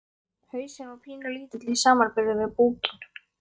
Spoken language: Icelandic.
Hausinn var pínulítill í samanburði við búkinn.